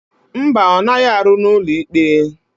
Mba, ọ naghị arụ n'ụlọikpe.